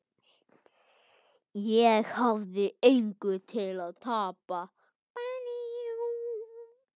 Ég hafði engu að tapa.